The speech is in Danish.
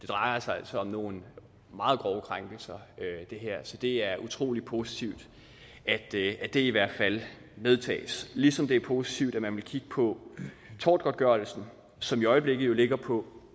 drejer sig altså om nogle meget grove krænkelser så det er utrolig positivt at det det i hvert fald medtages ligesom det er positivt at man vil kigge på tortgodtgørelsen som i øjeblikket ligger på